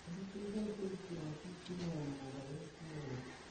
Nĩ citeithagia kũgitĩra hakiri kumana na mogarũrũku moru